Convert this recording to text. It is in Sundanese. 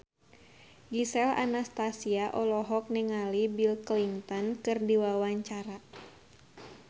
Gisel Anastasia olohok ningali Bill Clinton keur diwawancara